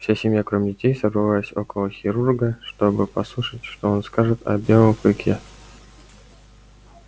вся семья кроме детей собралась около хирурга чтобы послушать что он скажет о белом клыке